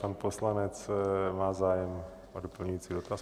Pan poslanec má zájem o doplňující dotaz.